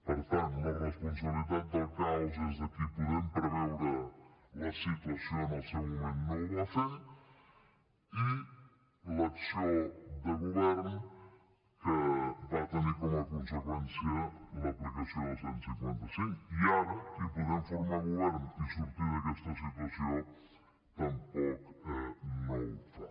per tant la responsabilitat del caos és de qui podent preveure la situació en el seu moment no ho va fer i de l’acció de govern que va tenir com a conseqüència l’aplicació del cent i cinquanta cinc i ara de qui podent formar govern i sortir d’aquesta situació tampoc ho fa